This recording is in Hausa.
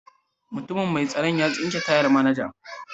Mutumin mai tsaron ya tsinke tayan manajan.